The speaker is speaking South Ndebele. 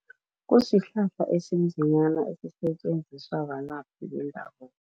Kusihlahla esinzinyana esisetjenziswa balaphi bendabuko.